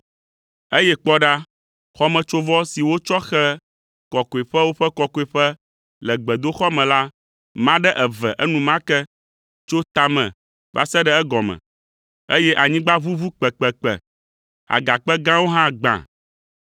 Eye kpɔ ɖa, xɔmetsovɔ si wotsɔ xe Kɔkɔeƒewo ƒe Kɔkɔeƒe le gbedoxɔ me la ma ɖe eve enumake tso tame va se ɖe egɔme, eye anyigba ʋuʋu kpekpekpe; agakpe gãwo hã gbã,